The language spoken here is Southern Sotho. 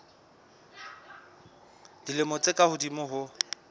dilemo tse ka hodimo ho